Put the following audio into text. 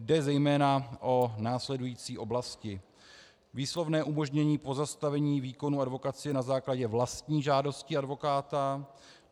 Jde zejména o následující oblasti: Výslovné umožnění pozastavení výkonu advokacie na základě vlastní žádosti advokáta.